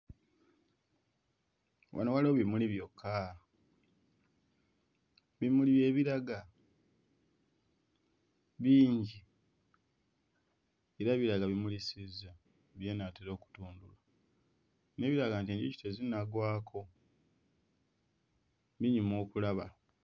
Wano waliwo bimuli byokka, bimuli bye biraga bingi era biraga bimulisizza binaatera okutundula n'ebirala nti enjuki tezinnagwako binyuma okulaba.